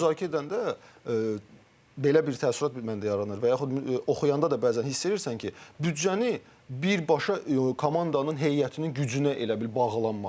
Arada müzakirə edəndə belə bir təəssürat məndə yaranır və yaxud oxuyanda da bəzən hiss edirsən ki, büdcəni birbaşa komandanın heyətinin gücünə elə bil bağlanmaq.